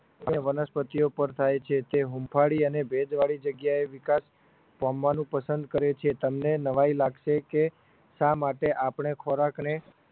વનસ્પતિઓ પર થાય છે તે હૂંફાળી અને ભેજવાળી જગ્યાએ વિકાસ પામવાનું પસંદ કરે છે તમને નવાઈ લાગશે કે શા માટે આપણે ખોરાકને